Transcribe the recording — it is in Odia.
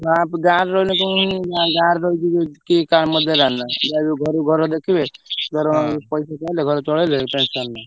ଗାଁରେ ରହିଲେ କଣ ଯାହା ବି ହଉ ଘରକୁ ଘର ଦେଖିବେ ଦରମା କୁ ପଇସା ପାଇଲେ ଘର ଚଳେଇଲେ tension ନାହିଁ।